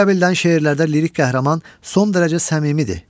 Bu qəbildən şeirlərdə lirik qəhrəman son dərəcə səmimidir.